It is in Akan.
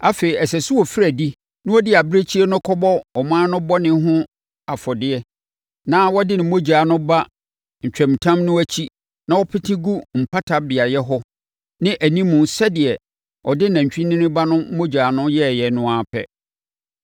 “Afei, ɛsɛ sɛ ɔfiri adi na ɔde abirekyie no kɔbɔ ɔmanfoɔ no bɔne ho afɔdeɛ na wɔde ne mogya no ba ntwamutam no akyi na wɔpete gu mpata beaeɛ hɔ ne animu sɛdeɛ ɔde nantwinini ba no mogya no yɛeɛ no ara pɛ.